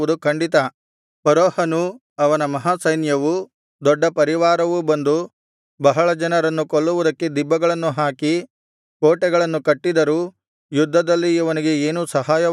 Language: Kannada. ಫರೋಹನೂ ಅವನ ಮಹಾಸೈನ್ಯವೂ ದೊಡ್ಡ ಪರಿವಾರವೂ ಬಂದು ಬಹಳ ಜನರನ್ನು ಕೊಲ್ಲುವುದಕ್ಕೆ ದಿಬ್ಬಗಳನ್ನು ಹಾಕಿ ಕೋಟೆಗಳನ್ನು ಕಟ್ಟಿದರೂ ಯುದ್ಧದಲ್ಲಿ ಇವನಿಗೆ ಏನೂ ಸಹಾಯವಾಗುವುದಿಲ್ಲ